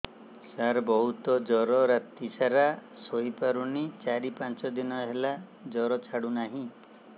ସାର ବହୁତ ଜର ରାତି ସାରା ଶୋଇପାରୁନି ଚାରି ପାଞ୍ଚ ଦିନ ହେଲା ଜର ଛାଡ଼ୁ ନାହିଁ